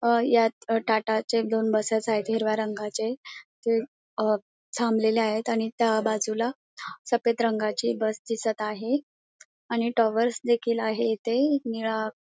अ यात टाटा चे दोन बस आहेत हिरव्या रंगाचे ते अ थामलेले आहेत आणि त्या बाजूला सफेद रंगाची बस दिसत आहे आणि टॉवर्स देखील आहे इथे एक निळा --